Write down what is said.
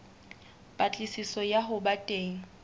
patlisiso ya ho ba teng